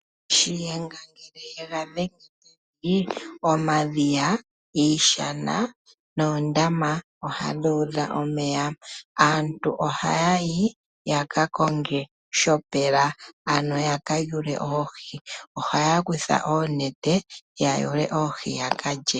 Shiyenga ngele ye ga dhenge pevi omadhiya, iishana noondama odhadhi udha omeya. Aantu ohaya yi ya ka konge shopela ano ya ka yule oohi. Ohaya kutha oonete ya yule oohi yaka lye.